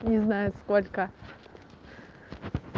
не знаю сколько